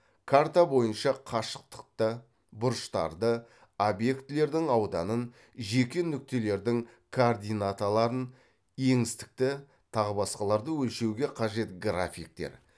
карта бойынша қашықтықты бұрыштарды объектілердің ауданын жеке нүктелердің координаталарын еңістікті тағы басқаларды өлшеуге қажет графиктер